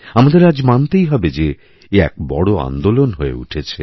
আমাদের আজ মানতেই হবে যে এ এক বড় আন্দোলন হয়ে উঠেছে